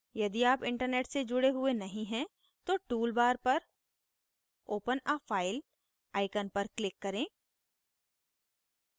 यदि आप internet से जुड़े हुए नहीं हैं तो tool bar पर open a file icon पर click करें